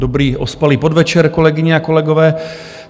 Dobrý ospalý podvečer, kolegyně a kolegové.